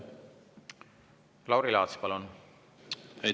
Lauri Laats, palun!